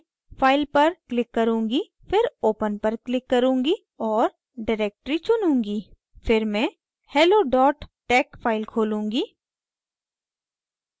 मैं file पर click करुँगी फिर open पर click करुँगी और directory चुनूँगी फिर मैं hello tex फाइल खोलूँगी